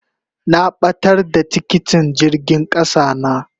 Na batar da tikitin jirgin kasa na.